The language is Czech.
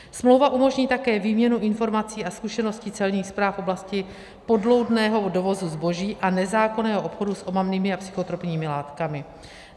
Smlouva umožní také výměnu informací a zkušeností celních správ v oblasti podloudného dovozu zboží a nezákonného obchodu s omamnými a psychotropními látkami.